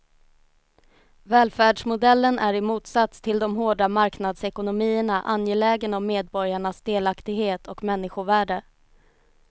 Välfärdsmodellen är i motsats till de hårda marknadsekonomierna angelägen om medborgarnas delaktighet och människovärde.